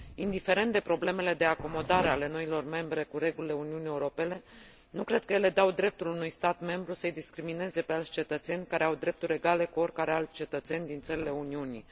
Indiferent de problemele de acomodare ale noilor state membre la regulile Uniunii Europene, nu cred că ele dau dreptul unui stat membru să i discrimineze pe alți cetățeni care au drepturi egale cu oricare alți cetățeni din țările Uniunii.